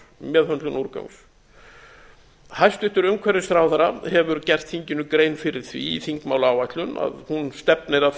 meðhöndlun úrgangs hæstvirtur umhverfisráðherra hefur gert þinginu grein fyrir því í þingmálaáætlun að hún stefnir að því